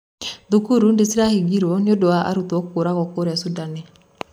Thukuru nĩ cirahigiro nĩũndũ wa arũto kũragwo kũria Thundani.